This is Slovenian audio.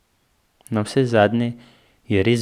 Navsezadnje je res blizu ...